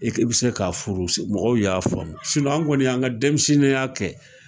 I ki bɛ se k'a furu mɔgɔw y'a famu an kɔni an ka denmisɛnninya kɛ